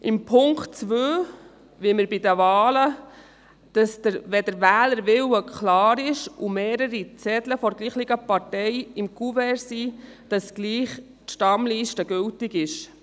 Mit dem Punkt 2 wollen wir, dass bei den Wahlen, wenn der Wählerwille klar ist und sich mehrere Zettel derselben Partei im Kuvert befinden, die Stammliste trotzdem gültig ist.